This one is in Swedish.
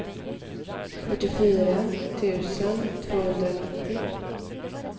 fyrtiofyra tusen tvåhundranittio